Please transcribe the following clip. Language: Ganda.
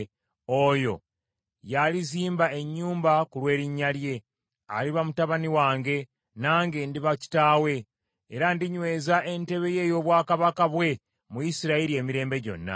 Oyo ye alizimba ennyumba ku lw’erinnya lyange. Aliba mutabani wange, nange ndiba kitaawe. Era ndinyweza entebe ye ey’obwakabaka bwe mu Isirayiri emirembe gyonna.’